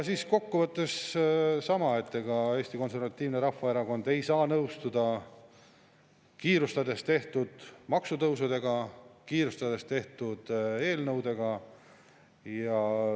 Kokku võttes sama: Eesti Konservatiivne Rahvaerakond ei saa nõustuda kiirustades tehtud maksutõusudega, kiirustades tehtud eelnõudega.